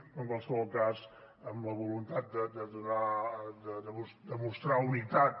però en qualsevol cas amb la voluntat de demostrar unitat